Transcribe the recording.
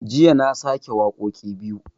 Jiya na sake wakoƙi biyu